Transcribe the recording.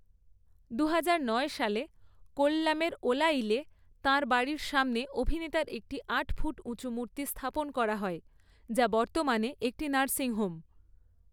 দুহাজার নয় সালে কোল্লামের ওলায়িলে তাঁর বাড়ির সামনে অভিনেতার একটি আট ফুট উঁচু মূর্তি স্থাপন করা হয়, যা বর্তমানে একটি নার্সিং হোম।